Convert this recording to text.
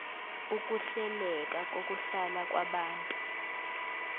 ukuhleleka kokuhlala kwabantu